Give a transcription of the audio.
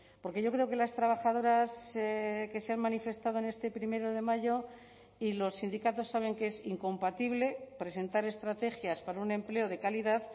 porque yo creo que las trabajadoras que se han manifestado en este primero de mayo y los sindicatos saben que es incompatible presentar estrategias para un empleo de calidad